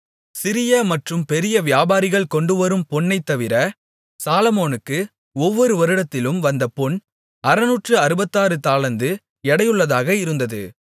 சிறிய மற்றும் பெரிய வியாபாரிகள் கொண்டுவரும் பொன்னைத்தவிர சாலொமோனுக்கு ஒவ்வொரு வருடத்திலும் வந்த பொன் அறுநூற்று அறுபத்தாறு தாலந்து எடையுள்ளதாக இருந்தது